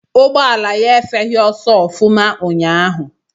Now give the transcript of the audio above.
Ụgbọala ya efeghị ọsọ ọfụma unyaahụ.